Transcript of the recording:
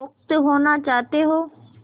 मुक्त होना चाहते हो